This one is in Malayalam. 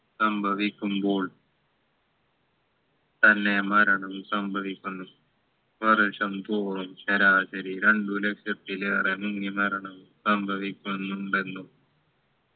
സംഭവിക്കുമ്പോൾ തന്നെ മരണം സംഭവിക്കുന്നു വർഷം തോറും ശരാശരി രണ്ടു ലക്ഷത്തിലേറെ മുങ്ങിമരണവും സംഭവിക്കുന്നുണ്ടെന്നും